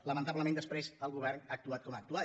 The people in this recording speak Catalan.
lamentablement després el go·vern ha actuat com ha actuat